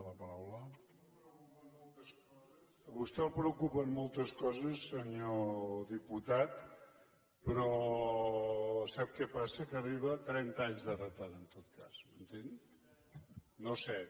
a vostè el preocupen moltes coses senyor diputat però sap què passa que arriba amb trenta anys de retard en tot cas m’entén no set